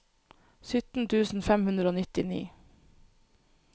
sytten tusen fem hundre og nittini